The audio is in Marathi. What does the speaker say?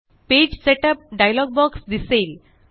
पेज सेटअप डायलॉग दिसेल